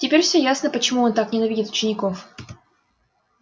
теперь все ясно почему он так ненавидит учеников